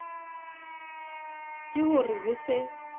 ke ho re ho se